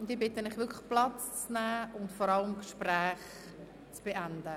Ich bitte Sie wirklich, Platz zu nehmen und vor allem, die Gespräche zu beenden.